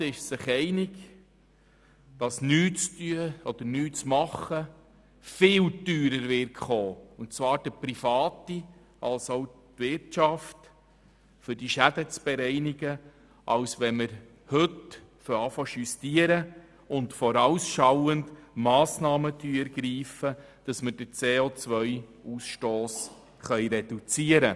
Vorgängig nichts zu tun und nur die Schäden nachträglich zu bereinigen, wird uns viel teurer zu stehen kommen, die Privaten ebenso wie die Wirtschaft, als wenn wir heute beginnen, zu justieren und vorausschauend Massnahmen zu ergreifen, um den CO-Ausstoss zu reduzieren.